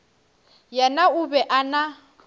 yena o be a na